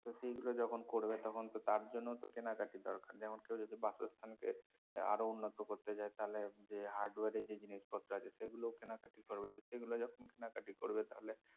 তো সেইগুলো যখন করবে তখন তো তার জন্যও তো কেনাকাটি দরকার যেমন কেউ যদি বাসস্থানকে এর আরো উন্নত করতে চায় তাহলে যে hardware এর যে জিনিসপত্র আছে সেগুলোও কেনাকাটি করবে তো সেগুলো যখন কেনাকাটি করবে তাহলে